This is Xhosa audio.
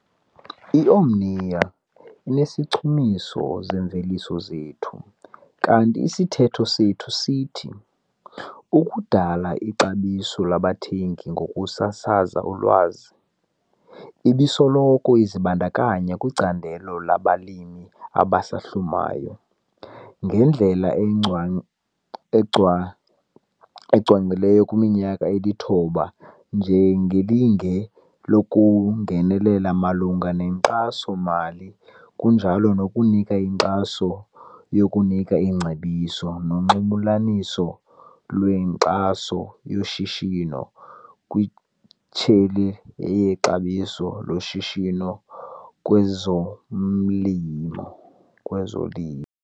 I-Omnia inezichumiso zeemveliso zethu kanti isithetho sethu sithi- "Ukudala ixabiso labathengi ngokusasaza ulwazi", ibisoloko izibandakanya kwicandelo labalimi abasahlumayo, ngendlela ecwangciselweyo kwiminyaka elithoba njengelinge lokungenelela malunga nenkxaso-mali ngokunjalo nokunika inkxaso yokunika iingcebiso nonxulumaniso lwenkxaso yoshishino kwitsheyini yexabiso loshishino kwezomlimo kwezolimo.